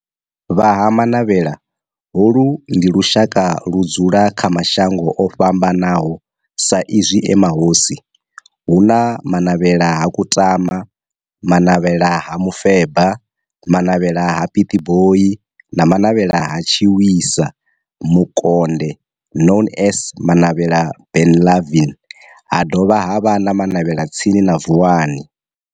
Vha Ha Manavhela, holu ndi lushaka ludzula kha mashango ofhambanaho sa izwi e mahosi hu na Manavhela ha Kutama, Manavhela ha Mufeba, Manavhela ha Pietboi na Manavhela ha Tshiwisa Mukonde known as Manavhela Benlavin ha dovha havha na Manavhela tsini na Vuwani.